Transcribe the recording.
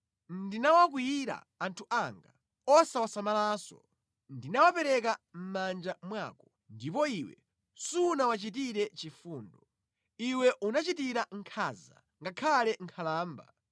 Ndinawakwiyira anthu anga, osawasamalanso. Ndinawapereka manja mwako, ndipo iwe sunawachitire chifundo. Iwe unachitira nkhanza ngakhale nkhalamba.